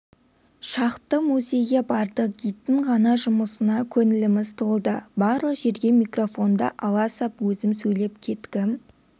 шақты музейге бардық гидтің ғана жұмысына көңіліміз толды барлық жерде микрофонды ала сап өзім сөйлеп кеткім